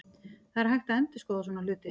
Það er hægt að endurskoða svona hluti.